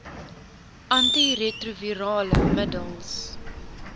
anti retrovirale middels